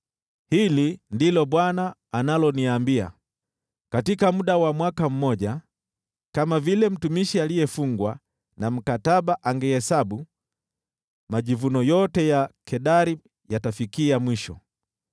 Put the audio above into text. Hili ndilo Bwana analoniambia: “Katika muda wa mwaka mmoja, kama vile mtumishi aliyefungwa na mkataba angeihesabu, majivuno yote ya Kedari yatafikia mwisho.